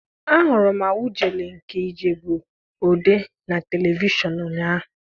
Ahụrụ m Awujale nke Ijebu-Ode na telivishọn ụnyaahụ.